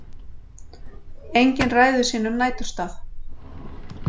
Engin ræður sínum næturstað.